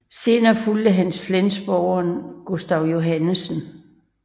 Senere fulgte ham flensborgeren Gustav Johannsen